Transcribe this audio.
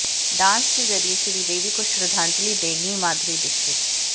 dance के जरिए श्रीदेवी को श्रद्धांजलि देंगी माधुरी दीक्षित